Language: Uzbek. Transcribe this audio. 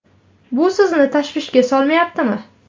Bu sizni tashvishga solmayaptimi?